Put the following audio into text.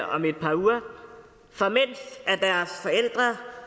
om et par uger så